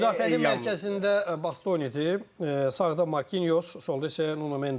Müdafiənin mərkəzində Bastonidir, sağda Markinyos, solda isə Nuno Mendes.